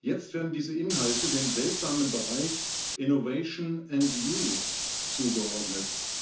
Jetzt werden diese Inhalte dem seltsamen Bereich Innovation and Youth zugeordnet.